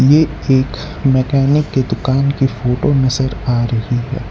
ये एक मैकेनिक के दुकान की फोटो नजर आ रही है।